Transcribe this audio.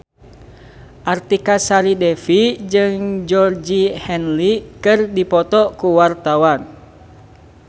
Artika Sari Devi jeung Georgie Henley keur dipoto ku wartawan